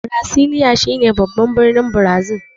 Brasilia shine babban birnin Brazil.